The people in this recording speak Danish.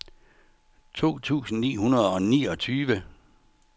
to tusind ni hundrede og niogtyve